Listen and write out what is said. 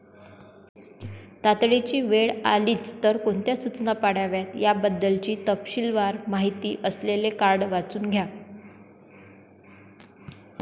तातडीची वेळ आलीच तर कोणत्या सूचना पाळाव्यात याबद्दलची तपशीलवार माहिती असलेले कार्ड वाचून घ्या.